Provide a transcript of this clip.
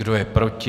Kdo je proti?